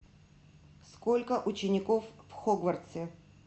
сколько учеников в хогвартсе